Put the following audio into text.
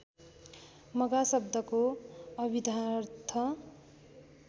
मघा शब्दको अभिधार्थ